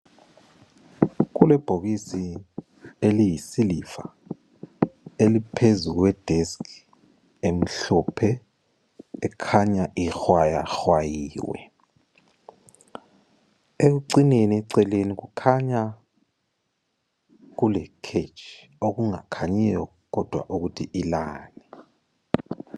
Kulebhokisi eliyisiliva eliphezu kwedesk emhlophe ekhanya ihwayahwayiwe. Ekucineni eceleni kukhanya kule kheji okungakhanyiyo kodwa ukuthi ilani.